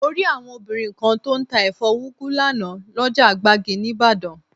Mo rí àwọn obìnrin kan tó ń tà ẹ̀fọ́ úgu lánàá, lọ́jà gbági níbàdàn